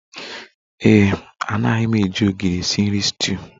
Ee e, anaghị m eji ogiri esi nri stuuyu